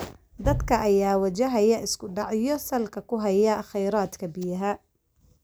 Dadka ayaa wajahaya isku dhacyo salka ku haya kheyraadka biyaha.